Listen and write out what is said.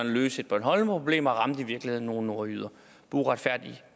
at løse et bornholmerproblem og ramte i virkeligheden nogle nordjyder på uretfærdig